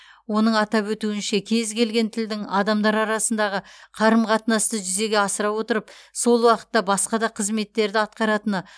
оның атап өтуінше кез келген тілдің адамдар арасындағы қарым қатынасты жүзеге асыра отырып сол уақытта басқа да қызметтерді атқаратыны